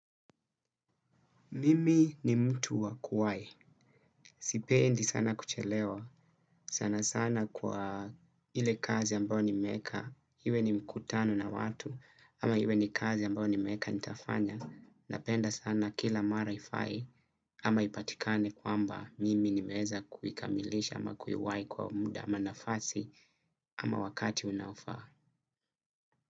Mimi ni mtu wa kuwai. Sipendi sana kuchelewa. Sana sana kwa ile kazi ambayo nimeeka. Iwe ni mkutano na watu. Ama iwe ni kazi ambayo nimeweka nitafanya. Napenda sana kila mara haiai. Ama ipatikane kwamba mimi nimeweza kuikamilisha ama kuiwai kwa muda ama nafasi ama wakati unaofaa.